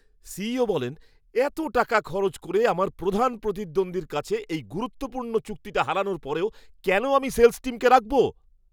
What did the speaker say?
CEO বলেন, "এত টাকা খরচ করে আমার প্রধান প্রতিদ্বন্দ্বীর কাছে এই গুরুত্বপূর্ণ চুক্তিটা হারানোর পরেও কেন আমি সেল্‌স টিমকে রাখব?"